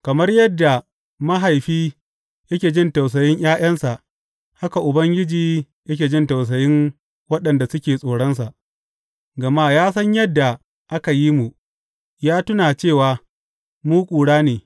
Kamar yadda mahaifi yake jin tausayin ’ya’yansa, haka Ubangiji yake jin tausayin waɗanda suke tsoronsa; gama ya san yadda aka yi mu, ya tuna cewa mu ƙura ne.